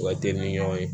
U ka teli ni ɲɔgɔn ye